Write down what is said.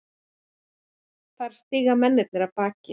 Þar stíga mennirnir af baki.